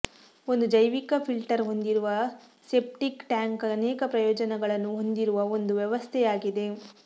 ಒಂದು ಜೈವಿಕ ಫಿಲ್ಟರ್ ಹೊಂದಿರುವ ಸೆಪ್ಟಿಕ್ ಟ್ಯಾಂಕ್ ಅನೇಕ ಪ್ರಯೋಜನಗಳನ್ನು ಹೊಂದಿರುವ ಒಂದು ವ್ಯವಸ್ಥೆಯಾಗಿದೆ